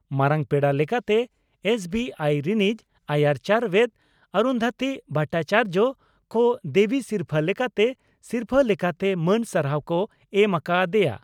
ᱢᱟᱨᱟᱝ ᱯᱮᱲᱟ ᱞᱮᱠᱟᱛᱮ ᱮᱥᱹᱵᱤᱹᱟᱭᱤᱹ ᱨᱤᱱᱤᱡ ᱟᱭᱟᱨ ᱪᱟᱣᱨᱮᱛ ᱚᱨᱩᱱᱫᱷᱚᱛᱤ ᱵᱷᱚᱴᱟᱪᱟᱨᱭᱚ ᱠᱚ ᱫᱮᱵᱤ ᱥᱤᱨᱯᱷᱟᱹ ᱞᱮᱠᱟᱛᱮ ᱥᱤᱨᱯᱷᱟᱹ ᱞᱮᱠᱟᱛᱮ ᱢᱟᱹᱱ ᱥᱟᱨᱦᱟᱣ ᱠᱚ ᱮᱢ ᱟᱠᱟ ᱟᱫᱮᱭᱟ ᱾